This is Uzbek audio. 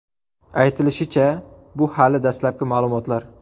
Aytilishicha, bu hali dastlabki ma’lumotlar.